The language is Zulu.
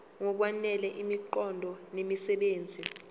ngokwanele imiqondo nemisebenzi